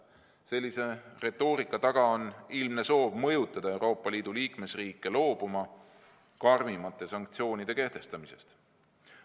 Sellise retoorika taga on ilmne soov mõjutada Euroopa Liidu liikmesriike loobuma karmimate sanktsioonide kehtestamisest.